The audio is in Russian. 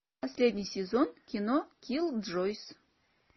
последний сезон кино киллджойс